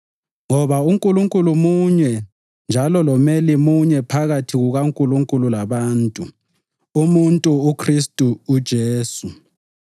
Ngoba uNkulunkulu munye njalo lomeli munye phakathi kukaNkulunkulu labantu, umuntu uKhristu Jesu,